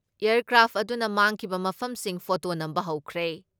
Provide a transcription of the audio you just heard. Aircraft ꯑꯗꯨꯅ ꯃꯥꯡꯈꯤꯕ ꯃꯐꯝꯁꯤꯡ ꯐꯣꯇꯣ ꯅꯝꯕ ꯍꯧꯈ꯭ꯔꯦ ꯫